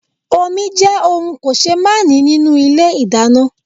Omi jẹ́ ohùn kòsémàání nínú Ilé ìdáná